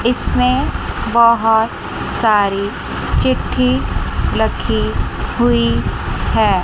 इसमें बहोत सारी चिट्ठी लखी हुई है।